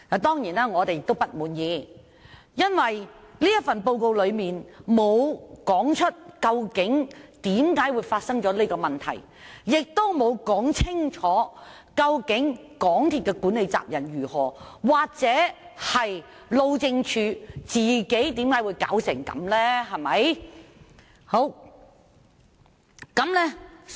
當然，我們對此並不滿意，因為報告沒有指出為何會發生這問題，亦沒有說清楚究竟港鐵公司的管理責任為何，或路政署為何會讓這樣的情況出現。